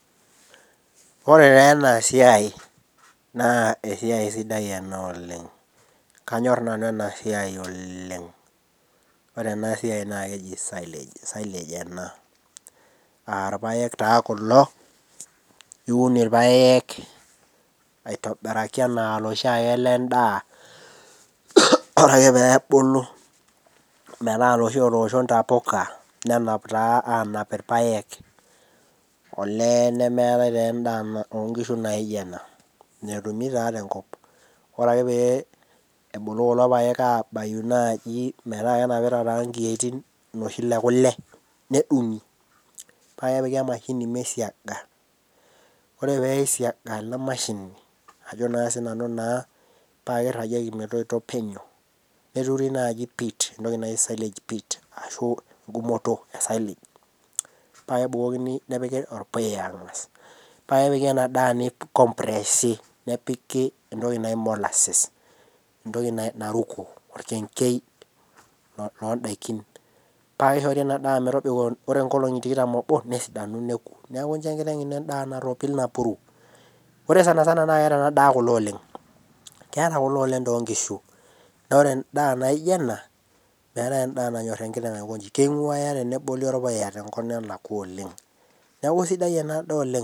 Ore teena esiai naa esiai sidai ena oleng kanyorr nanu ena siai oleng ore ena siai naa keji silage arpayek taa kulo niun irpayek aitobiraki enaa iloshiake lendaa ore ake peebulu metaa iloshi otoosho intapuka nenap taa anap irpayek olee nemeetae taa endaa na onkishu naijo ena metumi taa tenkop ore ake pee ebulu kulo payek abayu naaji metaa kenapita taa inkiyoitin iloshi le kule nedung'i paa kepiki emashini meisiaga ore peisiaga ena mashini ajo sinanu naa paa kirragieki metoito penyo neturi naaji pit entoki naji silage pit ashu engumoto e silage paa kebukokini nepiki orpuya ang'as paa kepiki ena daa neikompresi nepiki entoki naji molasses entoki naruko orkengei londaikin paa kishori ena daa metobiko ore inkolong'i tikitam oobo nesidanu neku niaku incho enkiteng ino endaa narropil napuru ore sanasana naa keeta ena daa kule oleng keeta kule oleng tonkishu naore endaa naijio ena meetae endaa nanyorr enkiteng aikonji keing'uaya teneboli orpuya tenkop nelakua oleng neku isidai ena daa oleng.